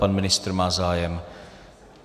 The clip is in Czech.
Pan ministr má zájem.